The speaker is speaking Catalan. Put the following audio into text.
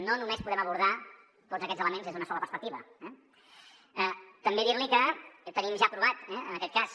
no només podem abordar tots aquests elements des d’una sola perspectiva eh també dir li que tenim ja aprovat en aquest cas